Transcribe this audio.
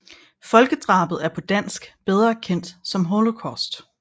Folkedrabet er på dansk bedre kendt som Holocaust